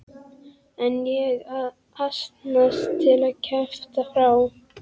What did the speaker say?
En ég að asnast til að kjafta frá.